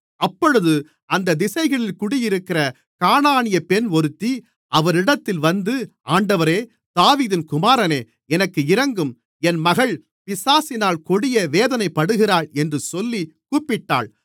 அப்பொழுது அந்தத் திசைகளில் குடியிருக்கிற கானானியப் பெண் ஒருத்தி அவரிடத்தில் வந்து ஆண்டவரே தாவீதின் குமாரனே எனக்கு இரங்கும் என் மகள் பிசாசினால் கொடிய வேதனைப்படுகிறாள் என்று சொல்லிக் கூப்பிட்டாள்